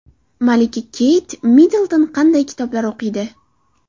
Malika Keyt Middlton qanday kitoblar o‘qiydi?